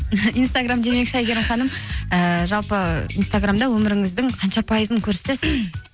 инстаграм демекші әйгерім ханым ііі жалпы инстаграмда өміріңіздің қанша пайызын көрсетесіз